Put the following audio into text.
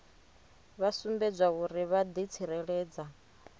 vha sumbedzwa uri vha ḓitsireledza